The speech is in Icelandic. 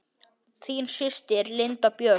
Þín systir, Linda Björk.